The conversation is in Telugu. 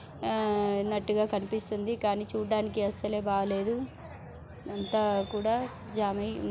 ఆ డటి గా కనిపిస్తుంది కని చూడడానికి అసలే బాలేదు అంతా కూడా జామై--